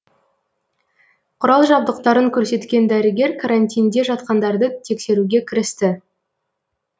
құрал жабдықтарын көрсеткен дәрігер карантинде жатқандарды тексеруге кірісті